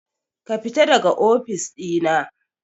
Kafita daga ofis ɗina.